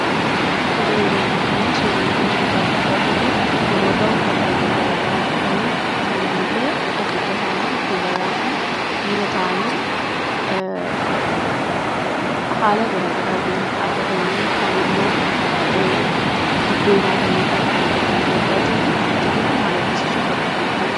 Tolee, yeroo ammaa kanaa suurri nuti as gubbaatti argaa jirruu namoota uffata halluu garaa garaa uffatanii saalaanillee adda adda ta'anii dubaraa fi dhiira ta'anii haala garaa garaatiin dhaabbatanii kaanimmoo dibbee baatanii dhaabbataniidha kan nuti argaa jirruu. Jarri kun maal argisiisuuf bakka kanatti argaman?